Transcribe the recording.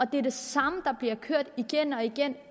det er det samme der bliver kørt igen og igen